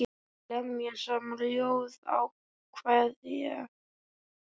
Lemja saman ljóð og kvæði.